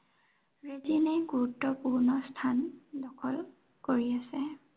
দিনে দিনে গুৰুত্বপূৰ্ণ স্থান দখল কৰি আছে।